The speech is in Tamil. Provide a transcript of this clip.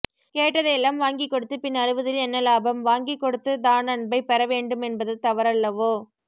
கேட்டதை எல்லாம் வாங்கிக் கொடுத்து பின் அழுவதில் என்னலாபம் வாங்கி கொடுத்துதானன்பைப் பெற வேண்டுமென்பது தவறல்லவோ